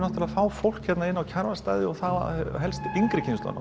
fá fólk inn á Kjarvalsstaði og þá helst yngri kynslóðina